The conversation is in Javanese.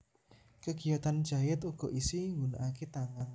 Kegiyatan jait uga isi nggunanake tangan